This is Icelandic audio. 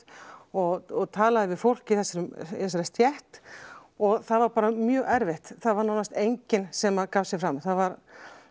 og talaði við fólk í þessari í þessari stétt og það var bara mjög erfitt það var nánast enginn sem gaf sig fram það var